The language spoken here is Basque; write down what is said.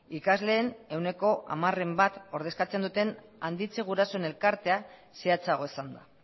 ikasleen ehuneko hamaren bat ordezkatzen duten handitze gurasoen elkartea zehatzago esanda